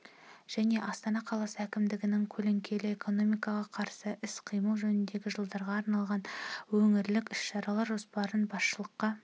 және астана қаласы әкімдігінің көлеңкелі экономикаға қарсы іс-қимыл жөніндегі жылдарға арналған өңірлік іс-шаралар жоспарын басшылыққа